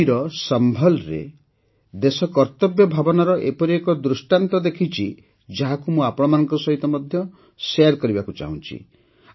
ୟୁପିର ସମ୍ଭଲ୍ରେ ଦେଶ କର୍ତ୍ତବ୍ୟ ଭାବନାରଏପରି ଏକ ଦୃଷ୍ଟାନ୍ତ ଦେଖିଛି ଯାହାକୁ ମୁଁ ଆପଣଙ୍କ ସହିତ ମଧ୍ୟ ଶେୟାର୍ କରିବାକୁ ଚାହୁଁଛି